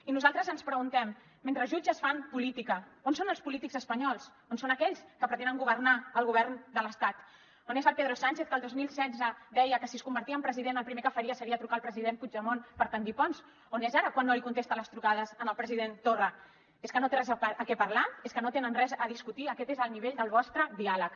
i nosaltres ens preguntem mentre jutges fan política on són els polítics espanyols on són aquells que pretenen governar el govern de l’estat on és el pedro sánchez que el dos mil setze deia que si es convertia en president el primer que faria seria trucar el president puigdemont per bastir ponts on és ara quan no li contesta les trucades al president torra és que no té res de què parlar és que no tenen res a discutir aquest és el nivell del vostre diàleg